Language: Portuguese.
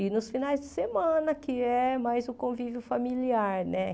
E nos finais de semana, que é mais o convívio familiar, né?